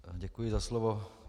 Děkuji za slovo.